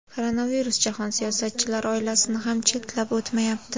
Koronavirus jahon siyosatchilari oilasini ham chetlab o‘tmayapti.